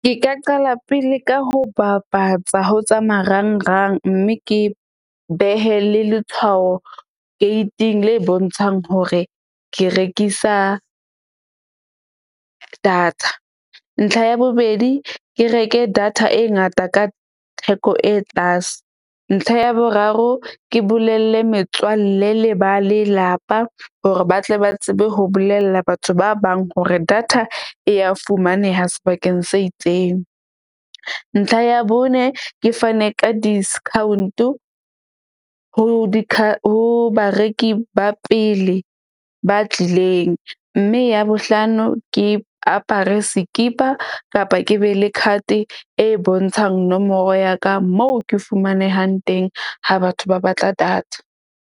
Ke ka qala pele ka ho bapatsa ho tsa marangrang. Mme ke behe le letshwao gate-ing le bontshang hore ke rekisa data. Ntlha ya bobedi, ke reke data e ngata ka theko e tlase. Ntlha ya boraro ke bolelle metswalle le ba lelapa hore ba tle ba tsebe ho bolella batho ba bang hore data e ya fumaneha sebakeng se itseng. Ntlha ya bone ke fane ka discount-o ho di ho bareki ba pele ba tlileng. Mme ya bohlano, ke apare sekipa kapa ke be le card-e e bontshang nomoro ya ka moo ke fumanehang teng ha batho ba batla data.